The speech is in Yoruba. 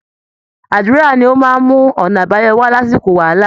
Àdúra ni ó máa ń mú ọ̀nà àbáyọ wá lásìkò wàhálà